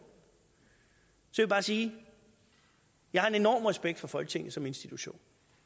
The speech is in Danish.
så vil jeg bare sige jeg har en enorm respekt for folketinget som institution